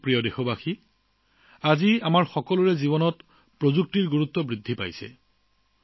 মোৰ প্ৰিয় দেশবাসী আজি আমাৰ জীৱনত প্ৰযুক্তিৰ গুৰুত্ব বাঢ়িছে